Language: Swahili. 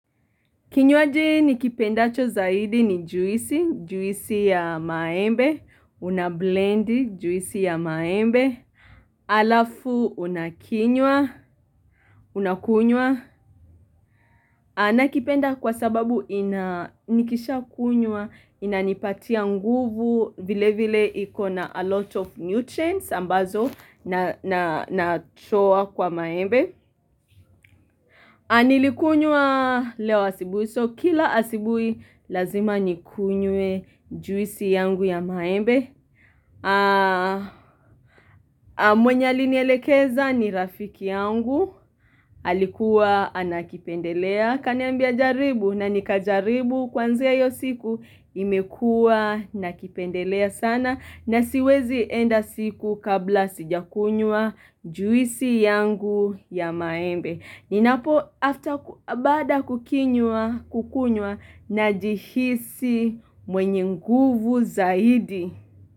Kinywaji nikipendacho zaidi ni juisi, juisi ya maembe, unablend juisi ya maembe, alafu unakinywa, unakunywa. Nakipenda kwa sababu nikisha kunywa, inanipatia nguvu, vile vile iko na a lot of nutrients ambazo natoa kwa maembe. Nilikunywa leo asubuhi, so kila asubuhi lazima nikunyue juisi yangu ya maembe mwenye alinelekeza ni rafiki yangu, alikuwa anakipendelea Kaniambia jaribu na nikajaribu kuanzia hiyo siku imekua nakipendelea sana, na siwezi enda siku kabla sijakunywa juisi yangu ya maembe Ninapo baada kukinywa, kukunywa, najihisi mwenye nguvu zaidi.